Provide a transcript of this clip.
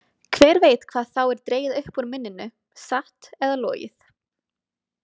Hver veit hvað þá er dregið upp úr minninu, satt eða logið?